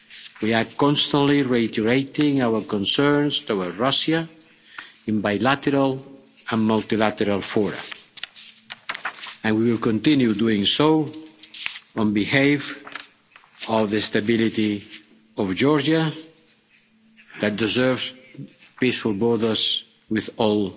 We are constantly reiterating our concerns to Russia in bilateral and multilateral fora and we will continue doing so on behalf of the stability of Georgia that deserves peaceful borders with all